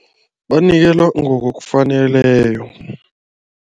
Banikelwa ngokokufaneleko.